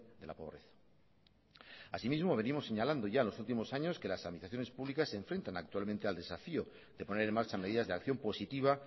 de la pobreza así mismo venimos señalando ya en los últimos años que las administraciones públicas se enfrentan actualmente al desafío de poner en marcha medidas de acción positiva